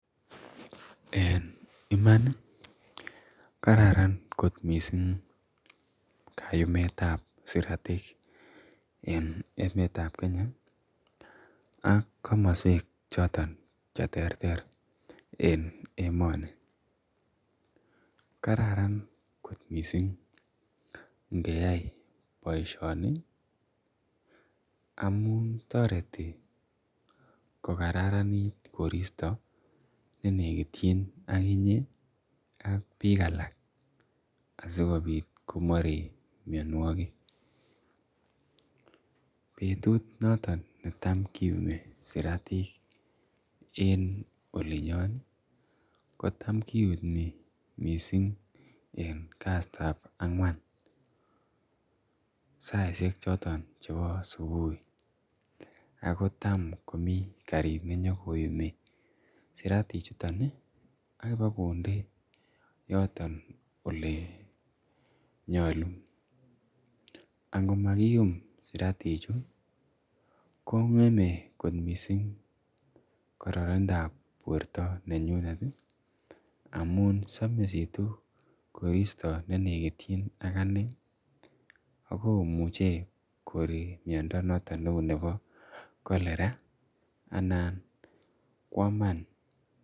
En iman ih kararan kot missing kayumetab siratik en emeetab Kenya ak kamoswek choton cheterter, en emoni, Karan kot missing ingeyai boisioni amuun toreti , kokaranit koristo nenekitien ak inye , ak bik alak asikobit komarik miannuagik betut naton netam kiumi siratik en olinyon kotam kiumi, missing en kasitab ang'uan, saisiek choton chebo subui, akotam komi karit nenyakoyumi, siratik chuton akobogonde , yoto elenyalu, angomakium siratik chu , kong'eme missing karannindab borta amuun samisitu , nenekitien ak anee ih akomuche koree miando noton nebo cholera anan koaman.